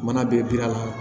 Mana bɛɛ bi da la